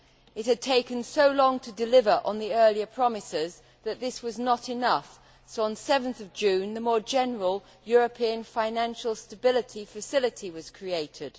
It had taken so long to deliver on the earlier promises that this was not enough, so, on 7 June, the more general European Financial Stability Facility was created.